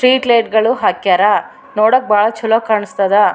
Street light ಗಳು ಹಾಕ್ಯಾರ ನೋಡೋಕ್ ಬಾಳ ಚಲೋ ಕಾಣ್ಸ್ತಾದ .